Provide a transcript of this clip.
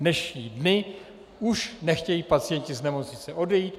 Dnešní dny už nechtějí pacienti z nemocnice odejít.